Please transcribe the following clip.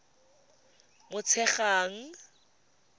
motshegang